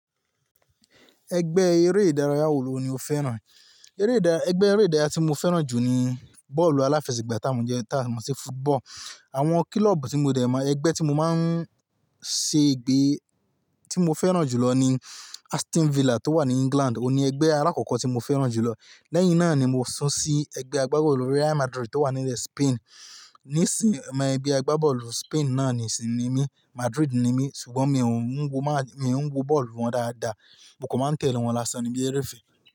Ẹgbẹ́ eré ìdárayá wo lo ní o fẹ́ràn? Eré ìdá, ẹgbẹ́ eré ìdárayá tí mo fẹ́ràn jù ní bọ́ọ̀lù aláfẹsẹ̀gbá tá mo jẹ tá mo si football. Àwọn kílọ́ọ̀bù tí mo dẹ̀ mọ̀, ẹgbẹ́ tí mo máa ń ṣe ìgbé tí mo fẹ́ràn jùlọ ní Aston Villa tó wà ní England. O ní ẹgbẹ́ alákọ̀ọ́kọ́ tí mo fẹ́ràn jùlọ. Lẹ́yìn náà ni mo sún sí ẹgbẹ́ agbábọ́ọ̀lù Real Madrid tó wà nílé Spain. Nísìí, omọ egbe agbábọ́ọ̀lù Spain náà nìí sì ní mí, Madrid ní mí ṣùgbọ́n mi ò ń wo máa, mi ń wo bọ́ọ̀lù wọn dáadáa, mo kò máa ń tẹ̀lé wọn lásán níbi eré ìfẹ́.